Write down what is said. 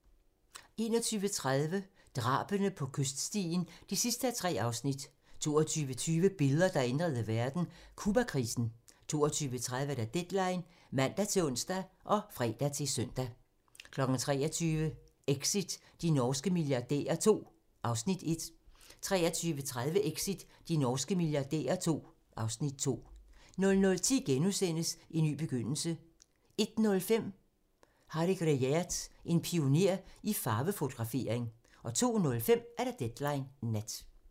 21:30: Drabene på kyststien (3:3) 22:20: Billeder, der ændrede verden: Cubakrisen 22:30: Deadline (man-ons og fre-søn) 23:00: Exit - de norske milliardærer II (Afs. 1) 23:30: Exit - de norske milliardærer II (Afs. 2) 00:10: En ny begyndelse * 01:05: Harry Gruyaert: En pioner i farvefotografering 02:05: Deadline Nat